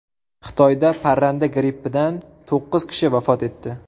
Xitoyda parranda grippidan to‘qqiz kishi vafot etdi.